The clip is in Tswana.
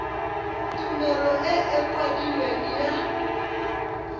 tumelelo e e kwadilweng ya